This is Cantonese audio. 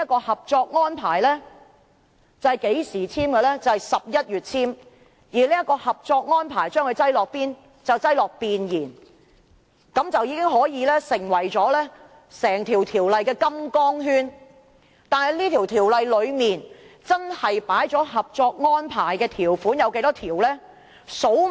《合作安排》在去年11月簽署，並被放在《條例草案》的弁言中，便成為整項《條例草案》的金剛圈，但《條例草案》真正收納了《合作安排》多少項條款？